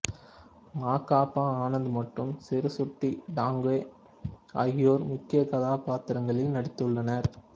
மா கா பா ஆனந்த் மற்றும் சிருசுட்டி டாங்கே ஆகியோர் முக்கிய கதாப்பாத்திரங்களில் நடித்துள்ளனர்